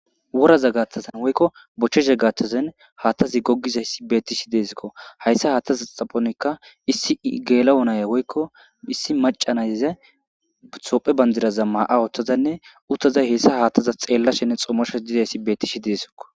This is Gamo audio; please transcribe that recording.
Woraza gathazan woykko bochche zeggaththazan haattazi gogizayssi beettishi deesikko hayssa haattaza xaphonikka issi geela onaya woykko issi macanayza hophe bandiraza maa'a ooththazanne uttazay heyssa haattaza xeella shenne xomosho dizayssi bettishi deesokko.